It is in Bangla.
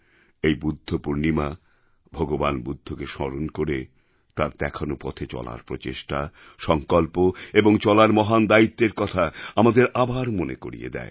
এই বুদ্ধপূর্ণিমা ভগবান বুদ্ধকে স্মরণ করে তাঁর দেখানো পথে চলার প্রচেষ্টা সংকল্প এবং চলার মহান দায়িত্বের কথা আমাদের আবার মনে করিয়ে দেয়